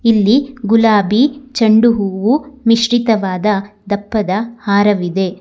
ಇಲ್ಲಿ ಗುಲಾಬಿ ಚೆಂಡು ಹೂವು ಮಿಶ್ರಿತವಾದ ದಪ್ಪದ ಹಾರವಿದೆ.